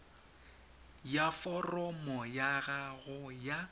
ya foromo ya gago ya